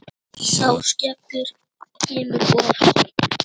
Sá skellur kom of seint.